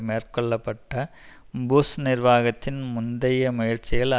மேற்கொள்ள பட்ட புஷ் நிர்வாகத்தின் முந்தைய முயற்சிகள்